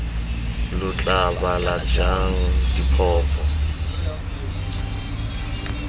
lo tla bala jang ditlhopho